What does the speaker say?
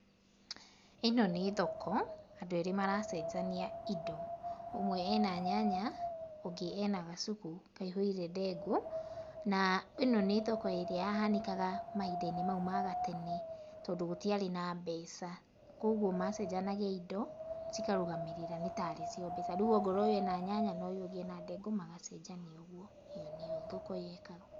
ĩ no nĩ thoko, andũ erĩ maracenjania indo. Ũmwe e na nyanya ũngĩ e na gacuku kaihũire ndengũ, na ĩ no nĩ thoko ĩrĩa yahanĩkaga mahinda-inĩ maũ ma gatene tondũ gũtiarĩ na mbeca kogwo macenjanagia indo cikarũgamĩrĩra nĩtarĩcio mbeca, rĩu ongorwo ũyũ e na nyanya na ũyũ ũngĩ e na ndengũ magacenjania ũguo, ũguo nĩguo thoko yekagwo.